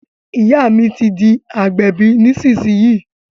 Ìyá mi ti di agbẹ̀bí nísìsiyìí